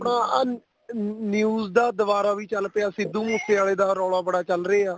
ਆਹ news ਦਾ ਦੁਬਾਰਾ ਵੀ ਚੱਲ ਪਿਆ ਸਿੱਧੂ ਮੂਸੇ ਵਾਲੇ ਦਾ ਰੋਲਾ ਬੜਾ ਚੱਲ ਰਿਹਾ